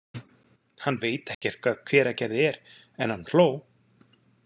Hann veit ekkert hvað Hveragerði er, en hann hló.